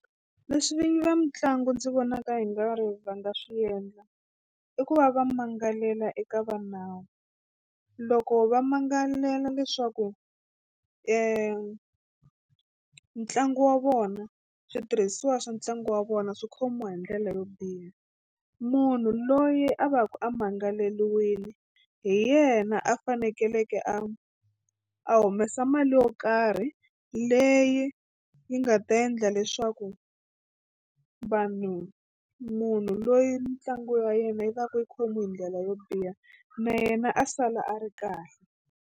Leswi vinyi va mitlangu ndzi vonaka i nga ri va nga swi endla i ku va va mangalela eka va nawu loko va mangalela leswaku ntlangu wa vona switirhisiwa swa ntlangu wa vona swi khomiwa hi ndlela yo biha munhu loyi a va ku a mangaleriwini hi yena a fanekeleke a a humesa mali yo karhi leyi yi nga ta endla leswaku vanhu munhu loyi ntlangu wa yena yi ta ku yi khomiwi hi ndlela yo biha na yena a sala a ri kahle.